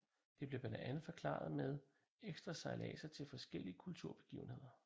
Det blev blandt andet forklaret med ekstra sejladser til forskellige kulturbegivenheder